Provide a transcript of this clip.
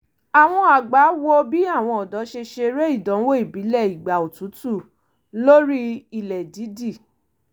àwọn àgbà wò bì àwọn ọ̀dọ́ ṣe ṣeré ìdánwò ìbílẹ̀ ìgbà otútù lórí ilẹ̀ dídì